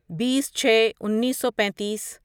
بیس چھے انیسو پینتیس